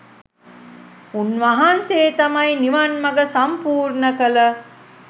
උන්වහන්සේ තමයි නිවන් මඟ සම්පූර්ණ කළ